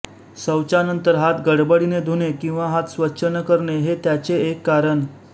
शौचानंतर हात गडबडीने धुणे किंवा हात स्वच्छ न करणे हे त्याचे एक कारण